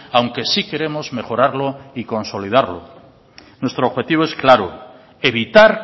aunque sí queremos mejorarlo y consolidarlo nuestro objetivo es claro evitar